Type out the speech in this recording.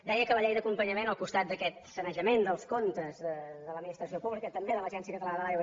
deia que la llei d’acompanyament al costat d’aquest sanejament dels comptes de l’administració pública també de l’agència catalana de l’aigua